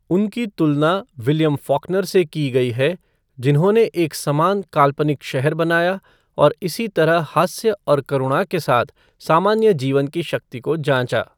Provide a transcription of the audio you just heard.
उनकी तुलना William Faulkner से की गई है जिन्होंने एक समान काल्पनिक शहर बनाया और इसी तरह हास्य और करुणा के साथ सामान्य जीवन की शक्ति को जांचा।